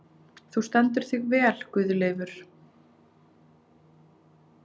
Þú stendur þig vel, Guðleifur!